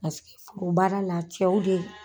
Paseke foro baara la cɛw de.